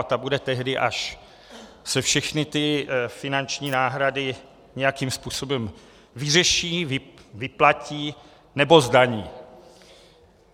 A ta bude tehdy, až se všechny ty finanční náhrady nějakým způsobem vyřeší, vyplatí nebo zdaní.